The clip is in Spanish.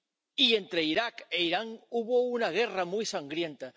Y entre Irak e Irán hubo una guerra muy sangrienta.